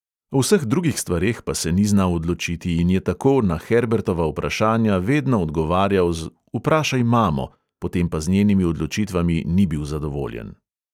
O vseh drugih stvareh pa se ni znal odločiti in je tako na herbertova vprašanja vedno odgovarjal z: "vprašaj mamo," potem pa z njenimi odločitvami ni bil zadovoljen.